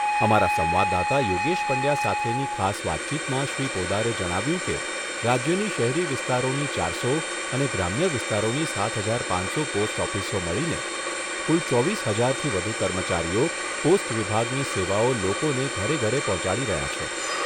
અમારા સંવાદદાતા યોગેશ પંડ્યા સાથેની ખાસ વાતચીતમાં શ્રી પોદારે જણાવ્યુંં કે રાજ્યની શહેરી વિસ્તારોની ચારસો અને ગ્રામ્ય વિસ્તારોની સાત હજાર પાંચસો પોસ્ટ ઓફિસો મળીને કુલ ચોવીસ હજારથી વધુ કર્મચારીઓ પોસ્ટ વિભાગની સેવાઓ લોકોને ઘરે ઘરે પહોંચાડી રહ્યા છે.